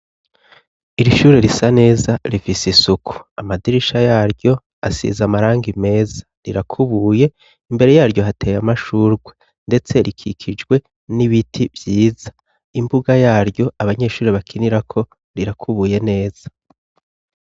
Iri shure risa neza rifise isuku. Amadirisha yaryo asize amarangi meza, rirakubuye. Imbere yaryo, hateye amashurwe, ndetse rikikijwe n'ibiti vyiza. Imbuga yaryo abanyeshuri bakinirako irakubuye neza.